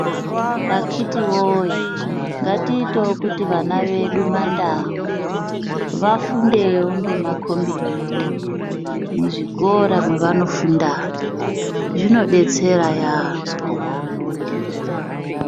Akiti woye ngatiitewo kuti vana vedu mandau vafundewo ngemakombiyuta muzvikora mwavanofundamwo zvinodetsera yambo.